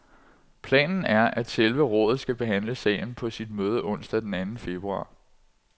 Planen er, at selve rådet skal behandle sagen på sit møde onsdag den anden februar.